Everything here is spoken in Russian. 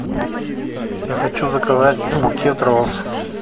я хочу заказать букет роз